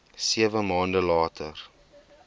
sewe maande later